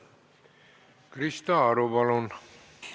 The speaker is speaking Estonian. Krista Aru, palun!